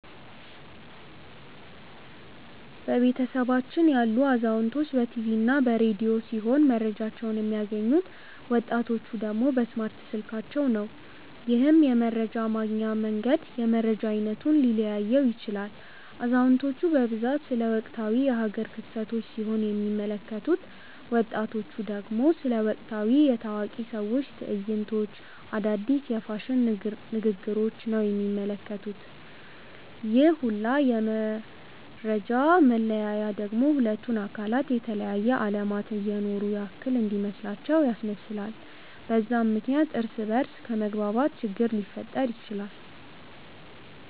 በቤተሰባችን ያሉት አዛውንቶች በ ቲቪ እና በ ረዲዮ ሲሆም መረጃቸውን የሚያገኙት፤ ወጣቲቹ ደግሞ በእስማርት ስልካቸው ነው። ይህም የመረጃ ማግኛ መንገድ የመረጃ አይነቱን ሊለያየው ይችላል። አዛውንቲቹ በብዛት ስለ ወቅታዊ የ ሃገር ክስተቶች ሲሆን የሚመለከቱት፤ ወጣቱ ደግሞ ስለ ወቅታዊ የ ታዋቂ ሰዎች ትዕይንቶች፣ አዳዲስ የ ፋሽን ንግግሪች ነው የሚመለከቱት፤ ይህ ሁላ የ መፈጃ መለያየት ደግሞ ሁለቱን አካላት የተለያየ አለማት እየኖሩ ያክል እንዲመስላቸው ያስመስላል፤ በዛም ምክንያት እርስ በ እርስ ከመግባባት ችግር ሊፈጠር ይችላል።